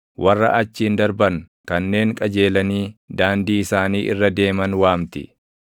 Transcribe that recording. warra achiin darban, kanneen qajeelanii daandii isaanii irra deeman waamti.